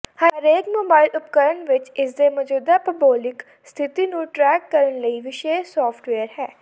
ਹਰੇਕ ਮੋਬਾਇਲ ਉਪਕਰਣ ਵਿਚ ਇਸਦੇ ਮੌਜੂਦਾ ਭੂਗੋਲਿਕ ਸਥਿਤੀ ਨੂੰ ਟਰੈਕ ਕਰਨ ਲਈ ਵਿਸ਼ੇਸ਼ ਸਾਫਟਵੇਯਰ ਹੈ